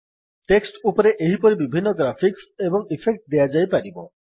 text ଉପରେ ଏହିପରି ବିଭିନ୍ନ ଗ୍ରାଫିକ୍ସ୍ ଏବଂ ଇଫେକ୍ଟସ୍ ଦିଆଯାଇପାରିବ